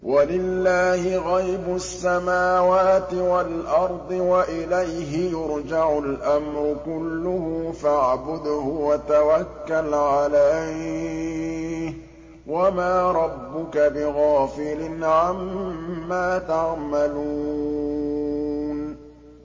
وَلِلَّهِ غَيْبُ السَّمَاوَاتِ وَالْأَرْضِ وَإِلَيْهِ يُرْجَعُ الْأَمْرُ كُلُّهُ فَاعْبُدْهُ وَتَوَكَّلْ عَلَيْهِ ۚ وَمَا رَبُّكَ بِغَافِلٍ عَمَّا تَعْمَلُونَ